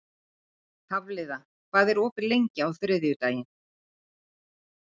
Hafliða, hvað er opið lengi á þriðjudaginn?